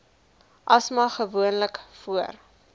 asma gewoonlik voor